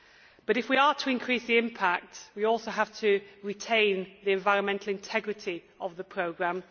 But if we are to increase the impact, we also have to retain the environmental integrity of the programme.